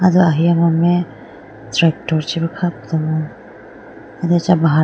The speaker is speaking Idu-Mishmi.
rahiya mame tractor chibu kha po ay do acha bahar.